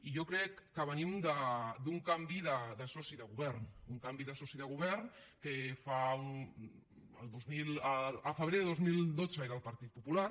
i jo crec que venim d’un canvi de soci de govern un canvi de soci de govern que al febrer del dos mil dotze era el partit popular